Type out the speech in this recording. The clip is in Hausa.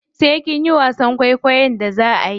Sai kinyi wasan kwaikwon da zaa ayi.